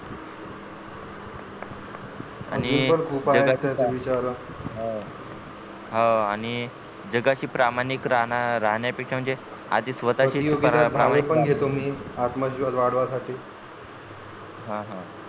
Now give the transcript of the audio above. आणि हो आणि जगाशी प्रामाणिक राहणं राहण्या पेक्षा म्हणजे आधी स्वतः शी पण घेतो मी आतां विश्वास वाढविण्यासाठी हं हं